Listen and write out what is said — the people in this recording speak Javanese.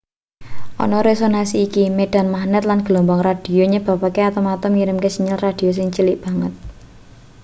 ana resonansi iki medan magnet lan gelombang radio nyebabke atom-atom ngirimke sinyal radio sing cilik banget